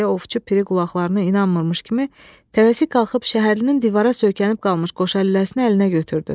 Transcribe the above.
deyə Ovçu Piri qulaqlarına inanmamış kimi tələsik qalxıb şəhərlinin divara söykənib qalmış qoşalüləsini əlinə götürdü.